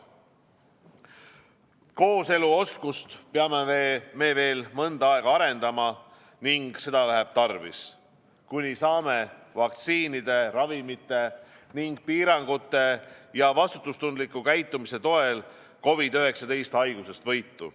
Kooseluoskust peame me veel mõnda aega arendama ning seda läheb tarvis, kuni saame vaktsiinide, ravimite ning piirangute ja vastutustundliku käitumise toel COVID-19 haigusest võitu.